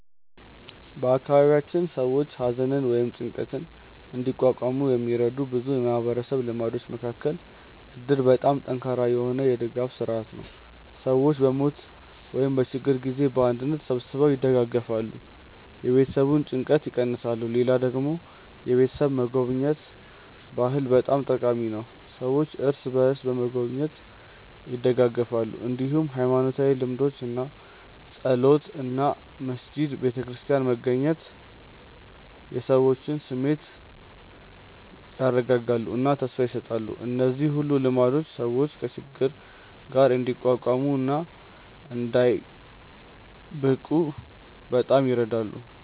በአካባቢያችን ሰዎች ሐዘንን ወይም ጭንቀትን እንዲቋቋሙ የሚረዱ ብዙ የማህበረሰብ ልማዶች መካከል እድር በጣም ጠንካራ የሆነ የድጋፍ ስርዓት ነው፤ ሰዎች በሞት ወይም በችግር ጊዜ በአንድነት ተሰብስበው ይደግፋሉ፣ የቤተሰቡን ጭንቀት ይቀንሳሉ። ሌላ ደግሞ የቤተሰብ መጎብኘት ባህል በጣም ጠቃሚ ነው፤ ሰዎች እርስ በርስ በመጎብኘት ይደጋገፋሉ። እንዲሁም ሃይማኖታዊ ልምዶች እንደ ጸሎት እና መስጊድ/ቤተክርስቲያን መገናኘት የሰዎችን ስሜት ያረጋጋሉ እና ተስፋ ይሰጣሉ። እነዚህ ሁሉ ልማዶች ሰዎች ከችግር ጋር እንዲቋቋሙ እና እንዳይብቁ በጣም ይረዳሉ።